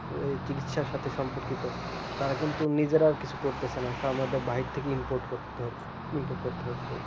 এই চিকিৎসার সাথে সম্পর্কিত তারা কিন্তু নিজেরা কিছু করতেছে না সব ওদের বাহির থেকে import কইরা হচ্ছে import করতে হচ্ছে